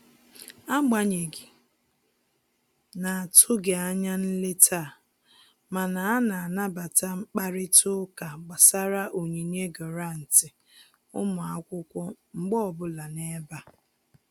Agbanyeghị na-atụghị anya nleta a, mana a na-anabata mkparịta ụka gbasara onyinye gụrantị ụmụ akwụkwọ mgbe ọbụla n'ebe a